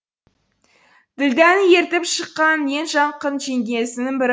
ділдәні ертіп шыққан ең жақын жеңгесінің бірі